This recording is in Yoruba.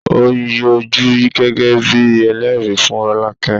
Ó yọjú gẹ́gẹ́ bíi ẹlẹ́rìí fún Rolake